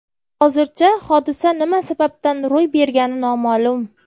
Hozircha hodisa nima sababdan ro‘y bergani noma’lum.